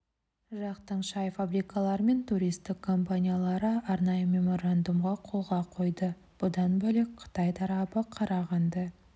жақтың шай фабрикалары мен туристік компаниялары арнайы меморандумға қолға қойды бұдан бөлек қытай тарабы қарағанды